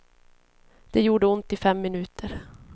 Det gjorde ont i fem minuter.